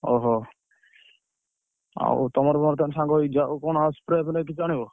ହଉ ହଉ, ଆଉ ତମର ମୋର ତାହେଲେ ସାଙ୍ଗ ହେଇକି ଯିବା। ଆଉ କଣ spray କିଛି ଆଣିବ?